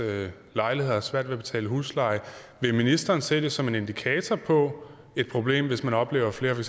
lejligheder og har svært ved at betale husleje vil ministeren se det som en indikator på et problem hvis man oplever at flere for